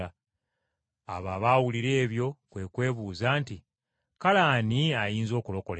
Abo abaawulira ebyo kwe kubuuza nti, “Kale ani ayinza okulokolebwa?”